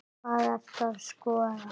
Hvað ertu að skoða?